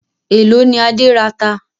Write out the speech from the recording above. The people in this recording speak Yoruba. Èló ni Adé rata?